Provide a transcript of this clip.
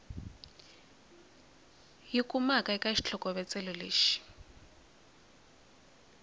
yi kumaka eka xitlhokovetselo lexi